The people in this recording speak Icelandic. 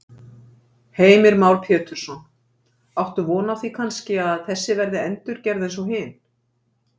Heimir Már Pétursson: Áttu von á því kannski að þessi verði endurgerð eins og hin?